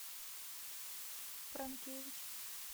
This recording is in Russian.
пранкевич